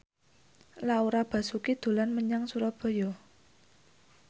Laura Basuki dolan menyang Surabaya